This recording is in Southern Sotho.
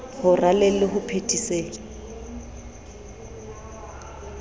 ho raleng le ho phethiseng